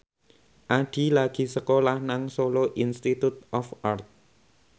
Addie lagi sekolah nang Solo Institute of Art